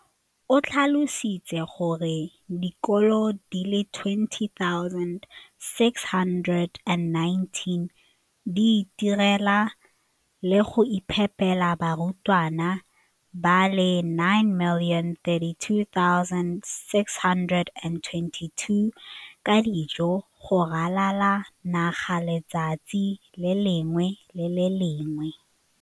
O tlhalositse gore dikolo di le 20 619 di itirela le go iphepela barutwana ba le 9 032 622 ka dijo go ralala naga letsatsi le lengwe le le lengwe.